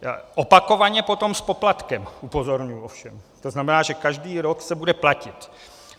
Opakovaně potom s poplatkem, upozorňuji ovšem, to znamená, že každý rok se bude platit.